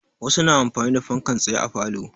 Wasu na amfani da fankan tsaye a falo.